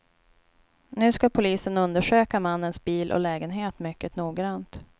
Nu ska polisen undersöka mannens bil och lägenhet mycket noggrant.